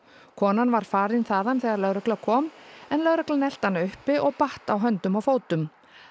konan var farin þaðan þegar lögregla kom en lögreglan elti hana uppi og batt á höndum og fótum